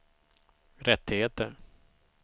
rättigheter